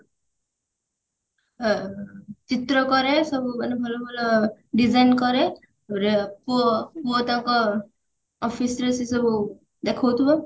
ଅ ଚିତ୍ର କରେ ସବୁ ମାନେ ଭଲ ଭଲ design କରେ ଦୁଇ ରେ ପୁଅ office ରେ ସେସବୁ ଦେଖଉଥିବେ